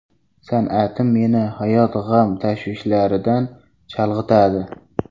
San’atim meni hayot g‘am tashvishlaridan chalg‘itadi.